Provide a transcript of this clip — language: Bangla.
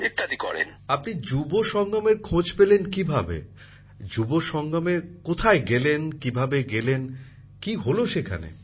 প্রধানমন্ত্রী জীঃ আপনি যুব সঙ্গমের খোঁজ পেলেন কিভাবে যুব সঙ্গমে কোথায় গেলেন কিভাবে গেলেন কী হলো সেখানে